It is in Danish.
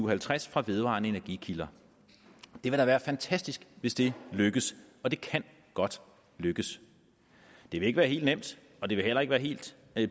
og halvtreds fra vedvarende energikilder det vil da være fantastisk hvis det lykkes og det kan godt lykkes det vil ikke være helt nemt og det vil heller ikke være helt